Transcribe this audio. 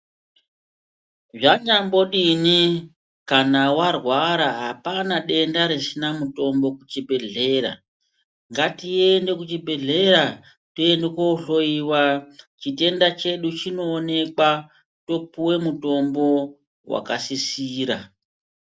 Zvanyambodini kana warwara hapana denda risina mutombo kuchibhedhlera ,ngatiende kuchibhedhlera tiende kohloyiwa, chitenda chedu chinowonekwa topuwe mutombo wakasisira.